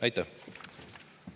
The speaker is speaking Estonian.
Aitäh!